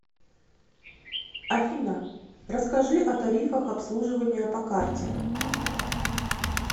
афина расскажи о тарифах обслуживания по карте